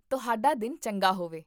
ਤੁਹਾਡਾ ਦਿਨ ਚੰਗਾ ਹੋਵੇ